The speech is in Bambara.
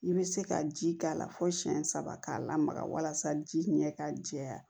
I bɛ se ka ji k'a la fo siyɛn saba k'a lamaga walasa ji ɲɛ ka jɛya